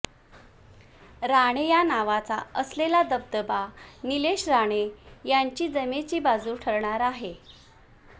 राणे या नावाचा असलेला दबदबा नीलेश राणे यांची जमेची बाजू ठरणार आहे